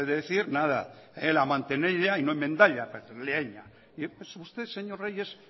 como suelen decir nada pues usted señor reyes